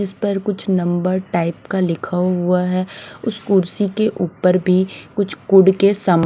इस पर कुछ नंबर टाइप का लिखा हुआ है उस कुर्सी के ऊपर भी कुछ कोड के समा--